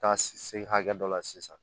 Taa se hakɛ dɔ la sisan